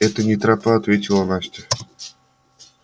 это не тропа ответила настя